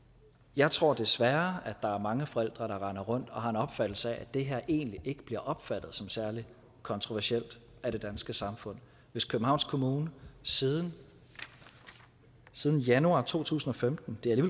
jeg tror desværre at der er mange forældre der render rundt og har en opfattelse af at det her egentlig ikke bliver opfattet som særlig kontroversielt af det danske samfund hvis københavns kommune siden siden januar to tusind og femten det er